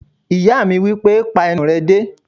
Ìyá mi wípé "pa ẹnu rẹ dé!"